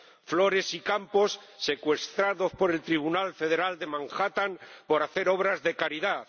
flores y campos secuestrados por el Tribunal Federal de Manhattan por hacer obras de caridad